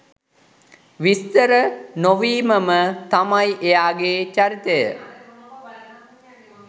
විස්තර නොවීමම තමයි එයාගේ චරිතය.